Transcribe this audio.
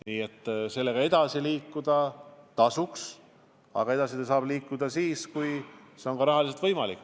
Nii et sellega edasi liikuda tasuks, aga edasi saab liikuda siis, kui see on rahaliselt võimalik.